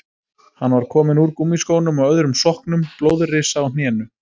Hann var kominn úr gúmmískónum og öðrum sokknum, blóðrisa á hnénu.